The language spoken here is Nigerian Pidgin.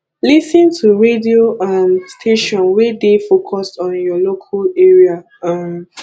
lis ten to radio um station wey dey focused on your local area um